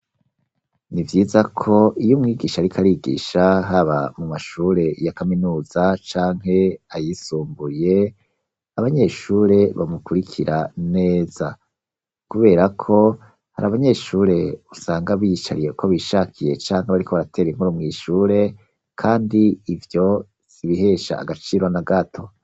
Nivyiza ko iyo mwigisha ariko arigisha haba mu mashure ya kaminuza canke ayisumburiye abanyeshure bamukurikira neza, kubera ko hari abanyeshure usanga biyicariye ukwo bishakiye canke bariko baratere inkuru mw'ishure kandi ivyo sibihesha agaciro na gato.